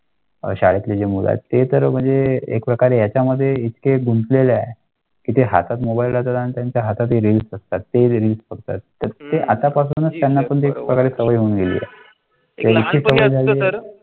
शाळेतल्या मुलांचे तर म्हणजे एक प्रकारे याच्यामध्ये एक गुंतलेल्या किती हातात मोबाईल आणि त्यांच्या हातात येऊ शकतात ते फक्त आतापासूनच त्यांना पण घेऊन.